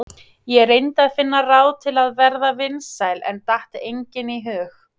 Ég reyndi að finna ráð til að verða vinsæl en datt engin í hug.